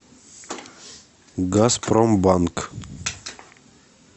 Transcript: газпромбанк